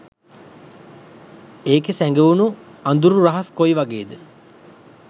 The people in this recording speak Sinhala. ඒකෙ සැගවුණු අදුරු රහස් කොයිවගේද?